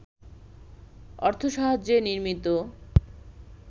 অর্থসাহায্যে নির্মিত